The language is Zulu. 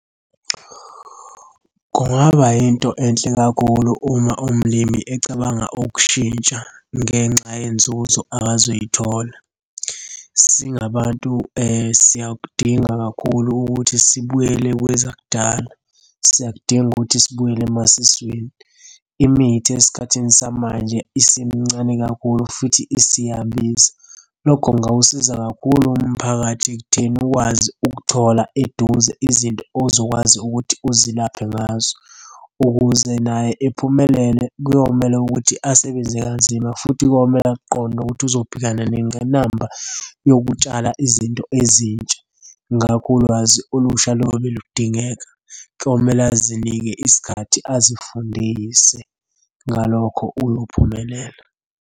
Kungaba yinto enhle kakhulu uma umlimi ecabanga ukushintsha ngenxa yenzuzo abazoyithola. Singabantu siyakudinga kakhulu ukuthi sibuyele kwezakudala, siyakudinga ukuthi sibuyele emasisweni. Imithi esikhathini samanje isimincane kakhulu futhi isiyabiza. Lokho kungawusiza kakhulu umphakathi ekutheni ukwazi ukuthola eduze izinto ozokwazi ukuthi uzilaphe ngazo. Ukuze naye ephumelele kuyomele ukuthi asebenze kazima futhi komele akuqonde ukuthi uzobhekana nengqinamba yokutshala izinto ezintsha. Ngakho ulwazi olusha lobe ludingeka, kuyomele azinike isikhathi azifundise. Ngalokho uyophumelela.